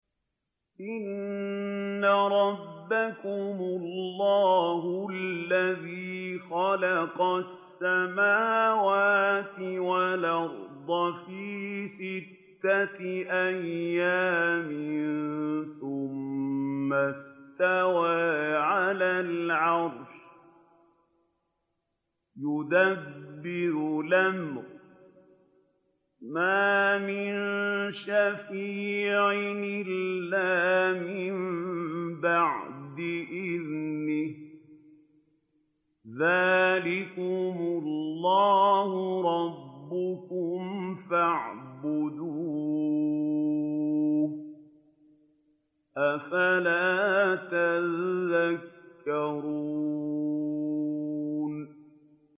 إِنَّ رَبَّكُمُ اللَّهُ الَّذِي خَلَقَ السَّمَاوَاتِ وَالْأَرْضَ فِي سِتَّةِ أَيَّامٍ ثُمَّ اسْتَوَىٰ عَلَى الْعَرْشِ ۖ يُدَبِّرُ الْأَمْرَ ۖ مَا مِن شَفِيعٍ إِلَّا مِن بَعْدِ إِذْنِهِ ۚ ذَٰلِكُمُ اللَّهُ رَبُّكُمْ فَاعْبُدُوهُ ۚ أَفَلَا تَذَكَّرُونَ